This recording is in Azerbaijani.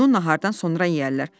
Bunu nahardan sonra yeyərlər.